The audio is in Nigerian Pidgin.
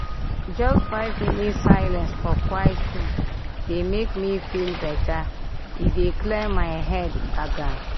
just five minute silence for quiet room dey make me feel better—e dey clear my head gbagam.